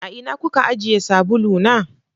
A ina kuka ajiye sabulu na?